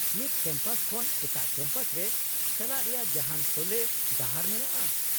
-ᱢᱤᱫ ᱠᱮᱢᱯᱟᱥ ᱠᱷᱚᱱ ᱮᱴᱟᱜ ᱠᱮᱢᱯᱟᱥ ᱨᱮ ᱪᱟᱞᱟᱜ ᱨᱮᱭᱟᱜ ᱡᱟᱦᱟᱱ ᱥᱚᱞᱦᱮ ᱰᱟᱦᱟᱨ ᱢᱮᱱᱟᱜᱼᱟ ?